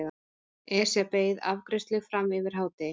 Esja beið afgreiðslu fram yfir hádegi.